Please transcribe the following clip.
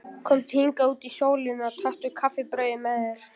Komdu hingað út í sólina og taktu kaffibrauðið með þér.